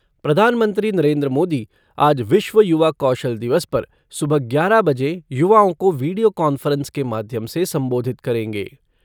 प्रधानमंत्री नरेन्द्र मोदी आज विश्व युवा कौशल दिवस पर सुबह ग्यारह बजे युवाओं को वीडियो कॉन्फ़्रेंस के माध्यम से संबोधित करेंगे।